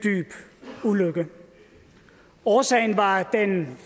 ulykke årsagen var den